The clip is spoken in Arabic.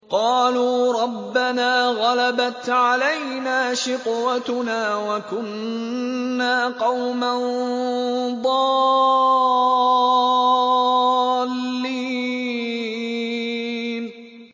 قَالُوا رَبَّنَا غَلَبَتْ عَلَيْنَا شِقْوَتُنَا وَكُنَّا قَوْمًا ضَالِّينَ